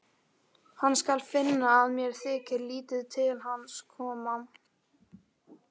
Hann skal finna að mér þykir lítið til hans koma.